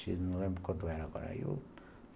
X, não lembro quanto era agora.